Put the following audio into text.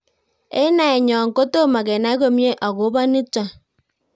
Eng' naenyo ko tomo kenai komie akopo nitok